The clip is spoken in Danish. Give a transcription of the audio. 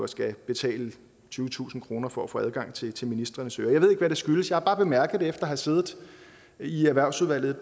skal betale tyvetusind kroner for at få adgang til til ministrenes ører jeg ved ikke hvad det skyldes jeg har bare bemærket det efter at have siddet i erhvervsudvalget